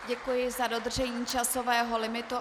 Děkuji za dodržení časového limitu.